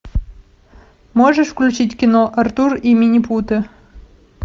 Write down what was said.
можешь включить кино артур и минипуты